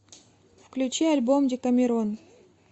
включи альбом декамерон